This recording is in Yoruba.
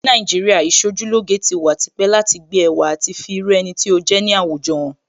Ní Nàìjíríà, Ìṣojúlóge ti wà tipẹ́ láti gbé ẹwà àti fi irú ẹni tí ó jẹ́ ní àwùjọ hàn